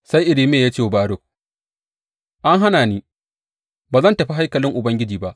Sai Irmiya ya ce wa Baruk, An hana ni, ba zan tafi haikalin Ubangiji ba.